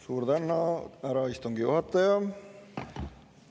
Suur tänu, härra istungi juhataja!